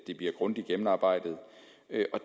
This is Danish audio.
her